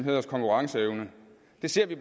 siger vi